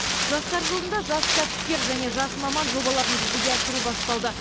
жастар жылында жас кәсіпкер және жас маман жобаларын жүзеге асыру басталды